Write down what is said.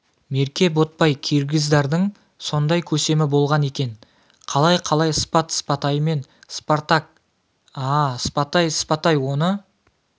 мерке ботбай киргиздардың сондай көсемі болған екен қалай қалай спат спатаймен спартак а-а спатай спатай оны